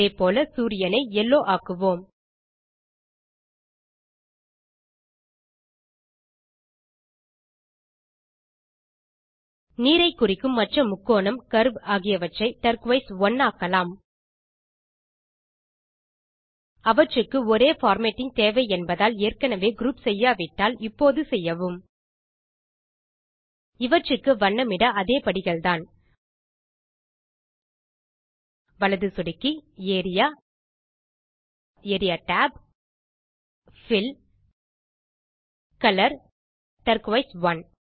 அதே போல சூரியன் ஐ யெல்லோ ஆக்குவோம் நீரை குறிக்கும் மற்ற முக்கோணம் கர்வ் ஆகியவற்றை டர்கோயிஸ் 1 ஆக்கலாம் அவற்றுக்கு ஒரே பார்மேட்டிங் தேவை என்பதால் ஏற்கெனெவே குரூப் செய்யாவிட்டால் இப்போது செய்யவும் இவற்றுக்கு வண்ணமிட அதே படிகள்தான் வலது சொடுக்கி area area tab fill colour turquoise 1